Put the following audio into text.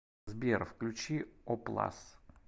сбер включи оплас